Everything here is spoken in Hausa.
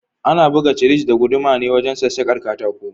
Ana buga cisir da guduma ne wajen sassakar katako.